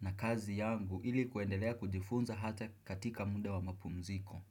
na kazi yangu ili kuendelea kujifunza hata katika muda wa mapumziko.